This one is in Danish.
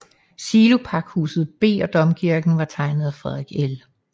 Silopakhus B og Domkirken var tegnet af Frederik L